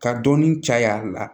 Ka dɔɔnin caya a la